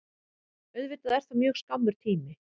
Auðvitað er það mjög skammur tími